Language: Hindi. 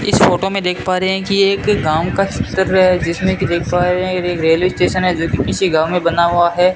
इस फोटो में देख पा रहे हैं कि ये एक गांव का चित्र है जिसमें की देख पा रहे हैं रेलवे स्टेशन है जो कि किसी गांव में बना हुआ है।